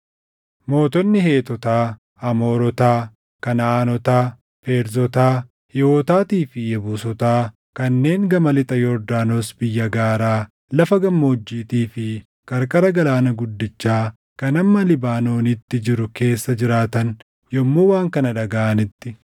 Mootonni Heetotaa, Amoorotaa, Kanaʼaanotaa, Feerzotaa, Hiiwotaatii fi Yebuusotaa kanneen gama lixa Yordaanos biyya gaaraa, lafa gammoojjiitii fi qarqara Galaana Guddichaa kan hamma Libaanoonitti jiru keessa jiraatan yommuu waan kana dhagaʼanitti,